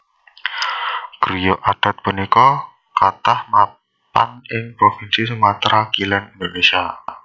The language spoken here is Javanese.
Griya adat punika kathah mapan ing provinsi Sumatra Kilèn Indonésia